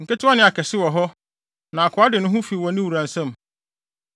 Nketewa ne akɛse wɔ hɔ, na akoa de ne ho fi ne wura nsam.